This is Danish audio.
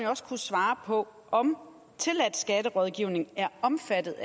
også kan svare på om tilladt skatterådgivning er omfattet